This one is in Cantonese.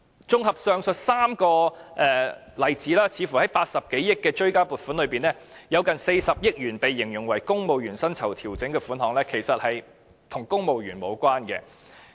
綜合上述3個例子，似乎在80多億元的追加撥款裏面，近40億元形容為"公務員薪酬調整"的款項，其實與公務員無關。